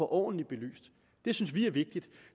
ordentligt belyst det synes vi er vigtigt